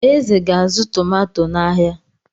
Eze ga-azụ tomato n'ahịa.